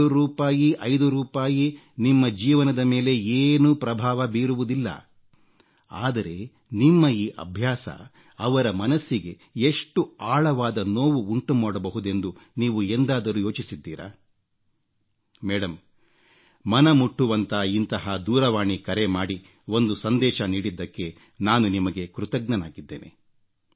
2 ರೂಪಾಯಿ 5 ರೂಪಾಯಿ ನಿಮ್ಮ ಜೀವನದ ಮೇಲೆ ಏನೂ ಪ್ರಭಾವ ಬೀರುವುದಿಲ್ಲ ಆದರೆ ನಿಮ್ಮ ಈ ಅಭ್ಯಾಸ ಅವರ ಮನಸ್ಸಿಗೆ ಎಷ್ಟು ಆಳವಾದ ನೋವು ಉಂಟು ಮಾಡಬಹುದೆಂದು ನೀವು ಎಂದಾದರೂ ಯೋಚಿಸಿದ್ದೀರಾ ಮೇಡಂ ಮನ ಮುಟ್ಟುವಂಥ ಇಂತಹ ದೂರವಾಣಿ ಕರೆ ಮಾಡಿ ಒಂದು ಸಂದೇಶ ನೀಡಿದ್ದಕ್ಕೆ ನಾನು ನಿಮಗೆ ಕೃತಜ್ಞನಾಗಿದ್ದೇನೆ